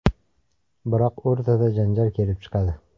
Biroq o‘rtada janjal kelib chiqadi.